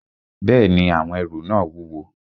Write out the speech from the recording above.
Bẹ́ẹ̀ni, àwọn ẹrù náà wúwo